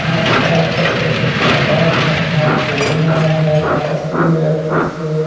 आस पास छत पे कुछ सामान रखा हुआ है पास ही में कुछ--